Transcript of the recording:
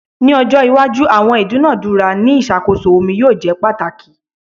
Ni ojo iwaju awọn idunadura ni iṣakoso omi yoo jẹ pataki